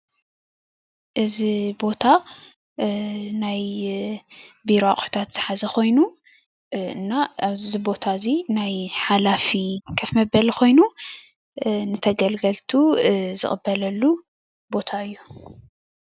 እዚ ቦታ ናይ ቢሮ ኣቁሕታት ዝሓዘ ኮይኑ እና እዚ ቦታ እዚ ናይ ሓላፊ ከፍ መበሊ ኮይኑ ተገልገልቱ ዝቅበለሉ ቦታ እዩ፡፡